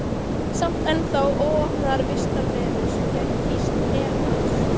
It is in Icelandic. Samt ennþá óopnaðar vistarverur sem gætu hýst her manns.